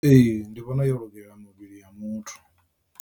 Ee ndi vhona yo lugela muvhili wa muthu.